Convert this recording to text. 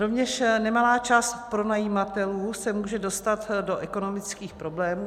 Rovněž nemalá část pronajímatelů se může dostat do ekonomických problémů.